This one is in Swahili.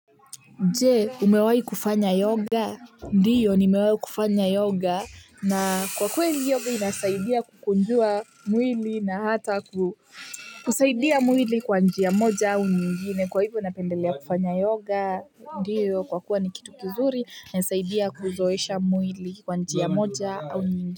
Je! Umewahi kufanya yoga. Ndiyo ni nimewahi kufanya yoga na kwa kweli yoga inasaidia kukunjua mwili na hata ku kusaidia mwili kwa njia moja au nyingine kwa hivyo napendelea kufanya yoga. Ndio kwa kuwa ni kitu kizuri inasaidia kuzoesha mwili kwa njia ya moja au nyingine.